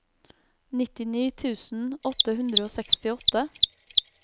nittini tusen åtte hundre og sekstiåtte